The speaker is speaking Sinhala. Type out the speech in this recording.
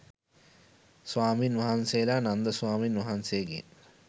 ස්වාමීන් වහන්සේලා නන්ද ස්වාමීන් වහන්සේගෙන්